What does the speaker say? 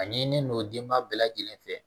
A ɲinilen don denba bɛɛ lajɛlen fɛ